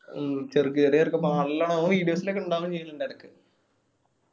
മ്മ് ചെറുക്ക് ചെറിയ ചെറുക്കൻ നല്ലോണം അവൻ videos ഇലൊക്കെ ഇണ്ടാവേം ചെയ്യലിണ്ട് ഇടക്ക്.